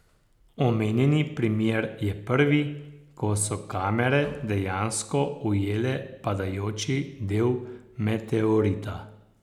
Omenjeni primer je prvi, ko so kamere dejansko ujele padajoči del meteorita.